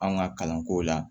An ka kalanko la